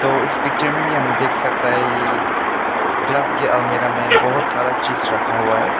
तो इस पिक्चर में भी हम देख सकता है ये ग्लास की अलमिरा बहुत सारा चीज रखा हुआ है।